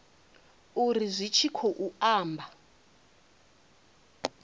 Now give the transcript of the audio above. uri zwi tshi khou amba